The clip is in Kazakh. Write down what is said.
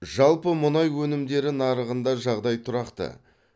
жалпы мұнай өнімдері нарығында жағдай тұрақты